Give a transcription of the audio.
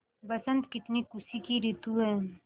बसंत कितनी खुशी की रितु है